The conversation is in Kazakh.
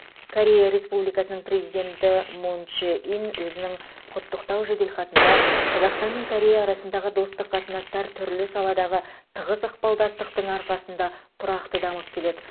корея республикасының президенті мун чжэ ин өзінің құттықтау жеделхатында қазақстан мен корея арасындағы достық қатынастар түрлі саладағы тығыз ықпалдастықтың арқасында тұрақты дамып келеді